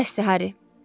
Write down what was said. Bəsdir, Hari.